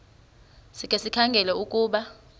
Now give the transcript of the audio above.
sikhe sikhangele ukuba